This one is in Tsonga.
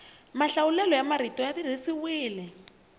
mahlawulelo ya marito ya tirhisiwile